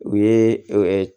U ye